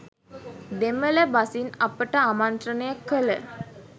දෙමළ බසින් අපට ආමන්ත්‍රණය කළ